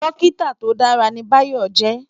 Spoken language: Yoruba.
Dòkitá tó dàrá ni Bayo jè